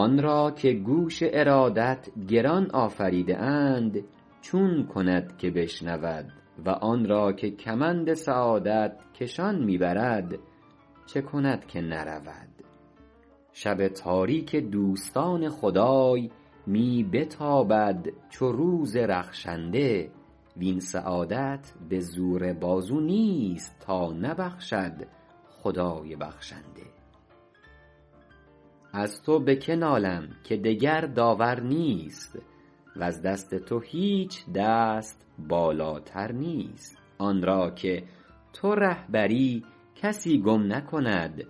آن را که گوش ارادت گران آفریده اند چون کند که بشنود و آن را که کمند سعادت کشان می برد چه کند که نرود شب تاریک دوستان خدای می بتابد چو روز رخشنده وین سعادت به زور بازو نیست تا نبخشد خدای بخشنده از تو به که نالم که دگر داور نیست وز دست تو هیچ دست بالاتر نیست آن را که تو رهبری کسی گم نکند